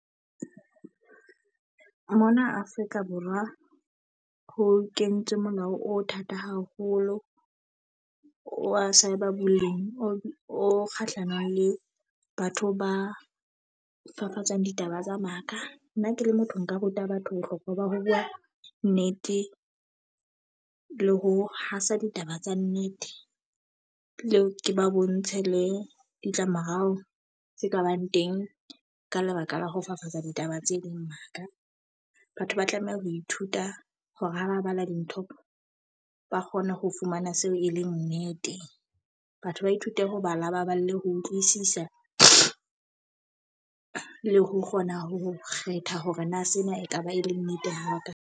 Mona Afrika Borwa ho kentswe molao o thata haholo wa bolemi, o kgahlanong le batho ba fafatsang ditaba tsa maka. Nna ke le motho nka ruta batho bohlokwa ba ho bua nnete. Le ho hasa ditaba tsa nnete, le ke ba bontshe le ditlamorao tse kabang teng ka lebaka la ho fafatsa ditaba tse ding maka. Batho ba tlameha ho ithuta hore ha ba bala dintho ba kgone ho fumana seo e leng nnete. Batho ba ithute ho bala, ba bale ho utlwisisa le ho kgona ho kgetha hore na sena e ka ba e le nnete haka.